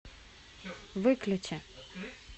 выключи